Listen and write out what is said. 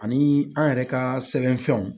Ani an yɛrɛ ka sɛbɛnfɛnw